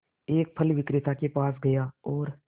एक फल विक्रेता के पास गया और